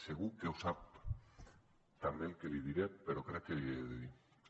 segur que ho sap també el que li diré però crec que l’hi he de dir